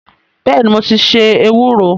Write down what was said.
Bẹ́ẹ̀ni, mo ti se ewúro